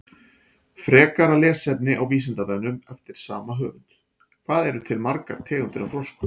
Frekara lesefni á Vísindavefnum eftir sama höfund: Hvað eru til margar tegundir af froskum?